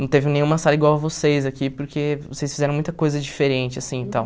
Não teve nenhuma sala igual a vocês aqui, porque vocês fizeram muita coisa diferente, assim, e tal.